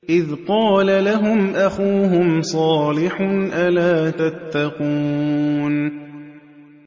إِذْ قَالَ لَهُمْ أَخُوهُمْ صَالِحٌ أَلَا تَتَّقُونَ